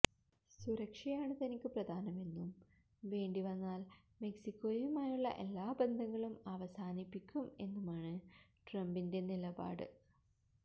സുരക്ഷയാണ് തനിക്ക് പ്രധാനമെന്നും വേണ്ടിവന്നാൽ മെക്സിക്കോയുമായുള്ള എല്ലാ ബന്ധങ്ങളും അവസാനിപ്പിക്കും എന്നുമാണ് ട്രംപിന്റെ നിലപാട്